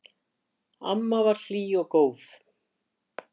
Amma var hlý og góð.